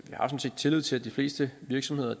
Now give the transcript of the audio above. har tillid til at de fleste virksomheder